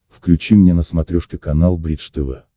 включи мне на смотрешке канал бридж тв